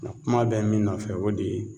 Na kuma bɛ min nɔfɛ o de ye